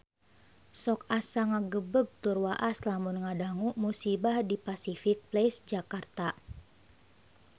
Sok asa ngagebeg tur waas lamun ngadangu musibah di Pasific Place Jakarta